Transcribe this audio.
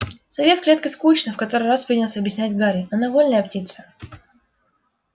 сове в клетке скучно в который раз принялся объяснять гарри она вольная птица